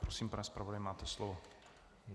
Prosím, pane zpravodaji, máte slovo.